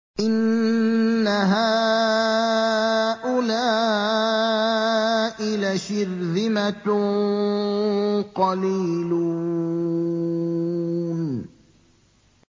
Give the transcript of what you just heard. إِنَّ هَٰؤُلَاءِ لَشِرْذِمَةٌ قَلِيلُونَ